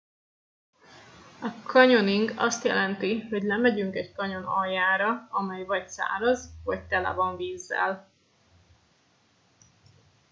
a canyoning azt jelenti hogy lemegyünk egy kanyon aljára amely vagy száraz vagy tele van vízzel